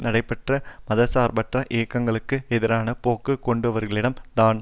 நடைபெற்ற மதர்சார்பற்ற இயக்கங்களுக்கு எதிரான போக்கு கொண்டவர்களிடம் தான்